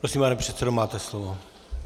Prosím, pane předsedo, máte slovo.